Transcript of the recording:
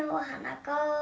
og hana góu og